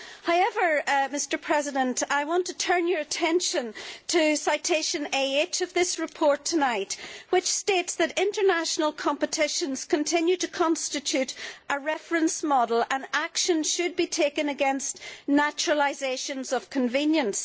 However, I want to turn your attention to recital AH of this report tonight, which states that international competitions continue to constitute a reference model and action should be taken against naturalisations of convenience.